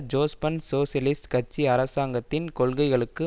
Jospin socialist கட்சி அரசாங்கத்தின் கொள்கைகளுக்கு